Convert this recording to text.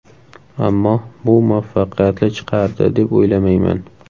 Ammo bu muvaffaqiyatli chiqardi, deb o‘ylamayman.